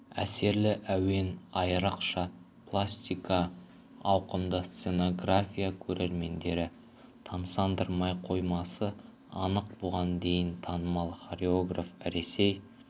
әсерлі әуен айрықша пластика ауқымды сценография көрерменді тамсандырмай қоймасы анық бұған дейін танымал хореограф ресей